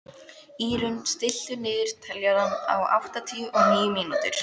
Írunn, stilltu niðurteljara á áttatíu og níu mínútur.